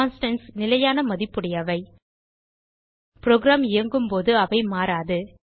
constants நிலையான மதிப்புடையவை program இயங்கும்போது அவை மாறாது